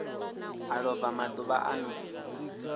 a lova maḓuvha a no